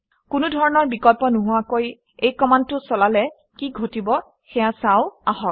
কোনো ধৰণৰ বিকল্প নোহোৱাকৈ এই কমাণ্ডটো চলালে কি ঘটিব সেয়া চাওঁ আহক